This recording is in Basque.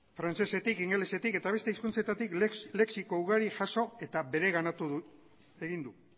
frantsesetik ingelesetik eta beste hizkuntzetatik lexiko ugari jaso eta bereganatu egin du